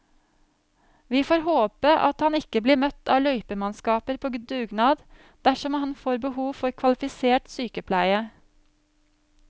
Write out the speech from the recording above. Vi får bare håpe at han ikke blir møtt av løypemannskaper på dugnad dersom han får behov for kvalifisert sykepleie.